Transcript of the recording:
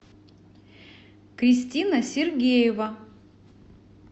кристина сергеева